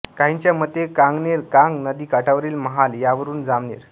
काहींच्या मते कांगनेर कांग नदी काठावरील महाल यावरून जामनेर